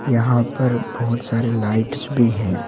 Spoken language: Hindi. यहां पर बहुत सारे लाइट्स भी हैं।